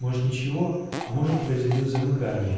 может ничего а может произойдёт замыкание